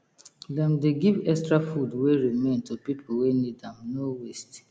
dem dey give extra food wey remain to people wey need am no waste